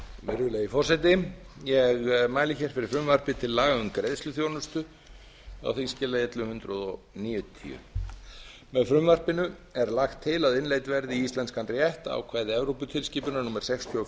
virðulegi forseti ég mæli fyrir frumvarpi til laga um greiðsluþjónustu á þingskjali ellefu hundruð níutíu með frumvarpinu er lagt til að innleidd verði í íslenskan rétt ákvæði tilskipunar númer sextíu og